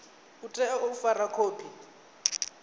u tea u fara khophi